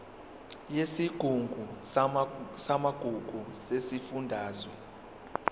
yesigungu samagugu sesifundazwe